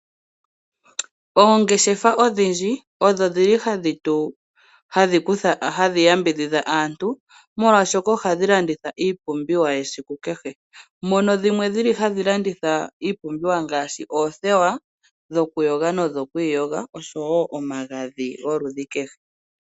Oongeshefa odhindji odho dhili hashi yambidhidha aantu molwaashoka ohadhi landitha iipumbiwa ya kehe esiku, dhono dhili hadhi landitha iipumbiwa ngaashi oothewa dhokuyoga nodhokwiiyoga oshowo omagadhi gwoludhi kehe.